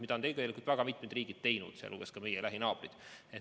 Seda on tegelikult väga mitmed riigid teinud, sealhulgas ka meie lähinaabrid.